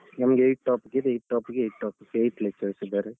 ನಮ್ಗೆ eight topic ಇದೆ, eight topic ಗೆ eight topic ದ್ eight eight lectures ಇದ್ದಾರೆ.